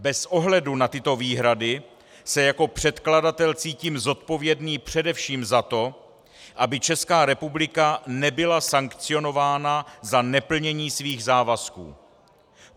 Bez ohledu na tyto výhrady se jako předkladatel cítím zodpovědný především za to, aby Česká republika nebyla sankcionována za neplnění svých závazků.